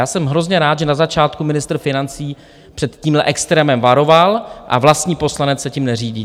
A jsem hrozně rád, že na začátku ministr financí před tímhle extrémem varoval, a vlastní poslanec se tím neřídí.